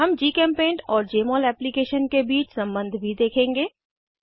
हम जीचेम्पेंट और जमोल एप्लीकेशन के बीच सम्बन्ध भी देखेंगे